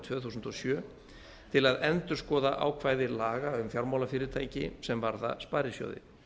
tvö þúsund og sjö til að endurskoða ákvæði laga um fjármálafyrirtæki sem varða sparisjóði